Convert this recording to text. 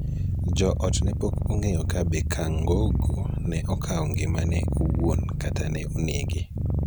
jo ot ne pok ong�eyo ka be Kangogo ne okao ngimane owuon kata ka ne onege.